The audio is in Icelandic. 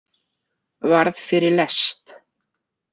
Varð fyrir lest.